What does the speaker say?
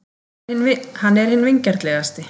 Hann er hinn vingjarnlegasti.